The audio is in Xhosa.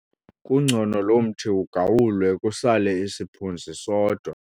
Kungcono lo mthi ugawulwe kusale isiphunzi sodwa.